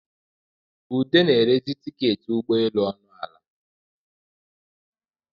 Ude na-erezi tiketị ụgbọ eluọnụ ala